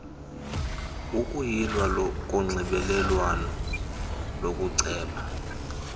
ukuyilwa konxibelelwano lokuceba